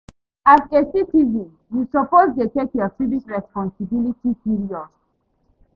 As a citizen, you suppose dey take yur civic responsibility serious